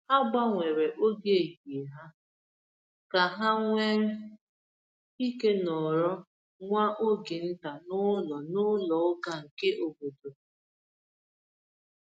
Ha gbanwere oge ehihie ha ka ha nwee ike nọrọ nwa oge nta n’ụlọ n’ụlọ ụka nke obodo.